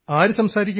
ആര് സംസാരിക്കും